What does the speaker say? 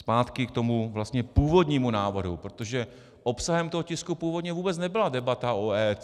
Zpátky k tomu vlastně původnímu návrhu, protože obsahem toho tisku původně vůbec nebyla debata o EET.